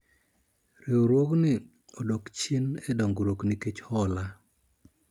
riwruogni odok chien e dongruok nikech hola